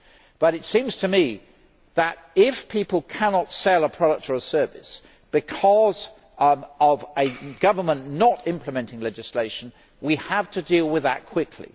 However, it seems to me that, if people cannot sell a product or a service because of a government not implementing legislation, we have to deal with that quickly.